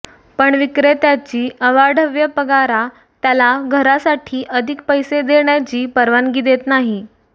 पण विक्रेत्याची अवाढव्य पगारा त्याला घरासाठी अधिक पैसे देण्याची परवानगी देत नाही